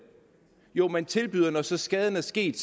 jo man tilbyder når så skaden er sket